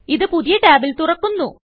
ഇത് പുതിയ ടാബിൽ തുറക്കുന്നു